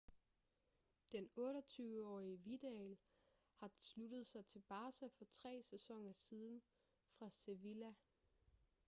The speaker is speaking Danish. den 28-årige vidal har sluttet sig til barca for tre sæsoner siden fra sevilla